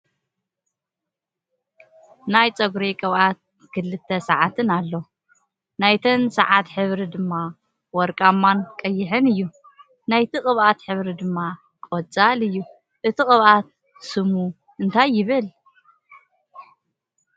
ናይ ፀጉራ ቅብኣት ን ክልተ ስዓት ኣሎ ። ናተን ስዓት ሕብሪ ድማ ወርቅማን ቀይሕን እዩ ። ናይቲ ቅብኣት ሕብሪ ድማ ቆፃል እዮ። እቲ ቅብኣት ስም እንታይ ይብል ?